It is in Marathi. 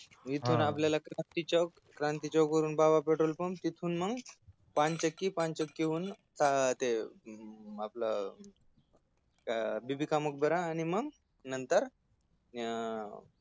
इथून आपल्याला क्रांती चौक क्रांती चौक वरून बाबापटलपूर हा तिथून मग पानचक्की पानचक्कीहून आ ते अं आपल ते बीबी का मकबरा आणि मग नंतर अं